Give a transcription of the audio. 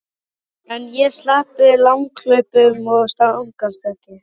En ég sleppti langhlaupum og stangarstökki.